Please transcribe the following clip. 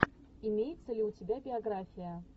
имеется ли у тебя биография